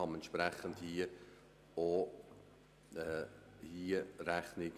Darf ich dem Kommissionspräsidenten noch einmal das Wort erteilen?